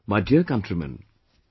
My Dear Countrymen,